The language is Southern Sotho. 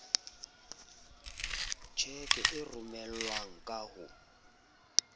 tjheke e romelwang ka ho